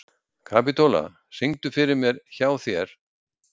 Kapítóla, syngdu fyrir mig „Hjá þér“.